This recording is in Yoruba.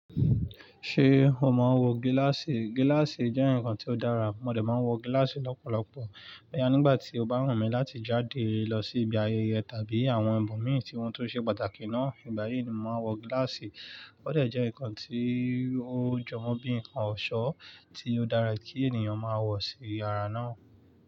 Ṣé o mọ wò gíláàsì? Gíláàsì jẹ́ ǹkan tí ó dára, ọmọdé máa ń wọ gíláàsì lọ́pọ̀lọpọ̀. Nígbà tí o bá ràn mí láti jáde lọ sí ibi ayẹyẹ tàbí àwọn ibo mí tí wọ́n tó ṣe pàtàkì náà, ìgbà yìí ni mo máa wọ gíláàsì. Ó dẹ̀ jẹ́ ǹkan tí ó jọwọ́ bí ǹkan ọ̀ṣọ́ tí ó dára kí ènìyàn máa wọ̀ sí yàrá náà.